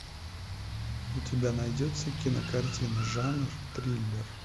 у тебя найдется кинокартина жанр триллер